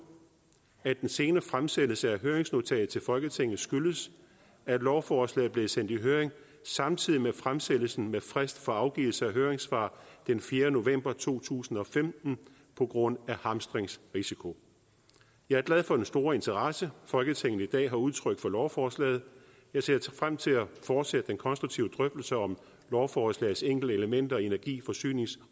at den sene fremsendelse af høringsnotatet til folketinget skyldes at lovforslaget blev sendt i høring samtidig med fremsættelsen med frist for afgivelse af høringssvar den fjerde november to tusind og femten på grund af hamstringsrisiko jeg er glad for den store interesse folketinget i dag har udtrykt for lovforslaget jeg ser frem til at fortsætte den konstruktive drøftelse om lovforslagets enkelte elementer i energi forsynings